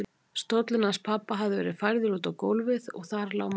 Stóllinn hans pabba hafði verið færður út á gólfið og þar lá mamma.